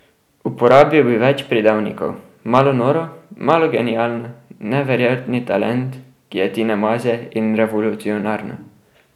Uporabil bi več pridevnikov, malo noro, malo genialno, neverjetni talent, ki je Tina Maze, in revolucionarno.